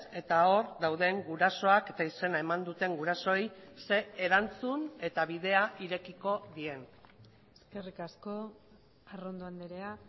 eta hor dauden gurasoak eta izena eman duten gurasoei ze erantzun eta bidea irekiko dien eskerrik asko arrondo andrea